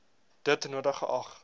dit nodig geag